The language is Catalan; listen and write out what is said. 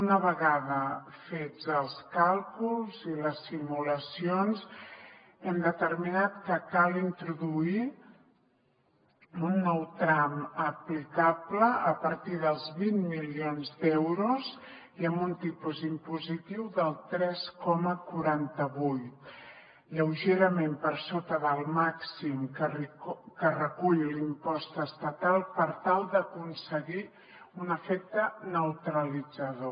una vegada fets els càlculs i les simulacions hem determinat que cal introduir un nou tram aplicable a partir dels vint milions d’euros i amb un tipus impositiu del tres coma quaranta vuit lleugerament per sota del màxim que recull l’impost estatal per tal d’aconseguir un efecte neutralitzador